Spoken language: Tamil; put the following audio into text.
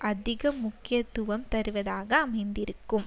அதிக முக்கியத்துவம் தருவதாக அமைந்திருக்கும்